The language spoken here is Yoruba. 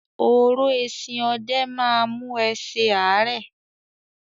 “oró eesin ọdẹ ” má a mú ẹ se ààrẹ.